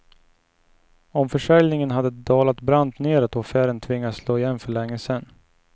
Om försäljningen hade dalat brant neråt, och affären tvingats slå igen för länge sen.